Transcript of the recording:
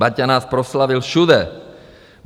Baťa nás proslavil všude.